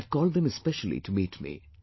I had called them especially to meet me